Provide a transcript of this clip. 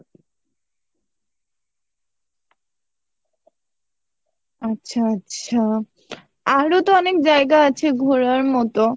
আচ্ছা আচ্ছা আরো তো অনেক জায়গা আছে ঘোরার মতো